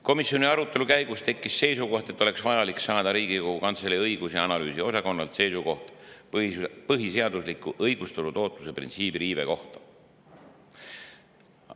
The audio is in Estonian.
Komisjoni arutelu käigus tekkis seisukoht, et oleks vaja Riigikogu Kantselei õigus- ja analüüsiosakonnalt saada seisukoht põhiseadusliku õigustatud ootuse printsiibi riive kohta.